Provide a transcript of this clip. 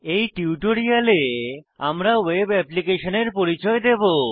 এই টিউটোরিয়ালে আমরা ওয়েব অ্যাপ্লিকেশনের পরিচয় দেবো